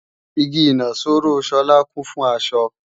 Igi ìnaṣọró Sola kún fún aṣọ